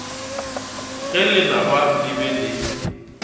ge lenaba le be le